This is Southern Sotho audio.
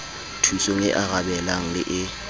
thusong e arabelang le e